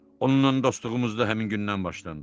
Onunla dostluğumuz da həmin gündən başlandı.